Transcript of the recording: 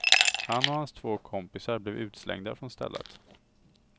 Han och hans två kompisar blev utslängda från stället.